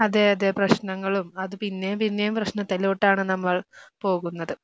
അതെ അതെ പ്രശ്നങ്ങളും അത് പിന്നെയും പിന്നെയും പ്രശ്നത്തിലോട്ടാണ് നമ്മൾ പോകുന്നത്.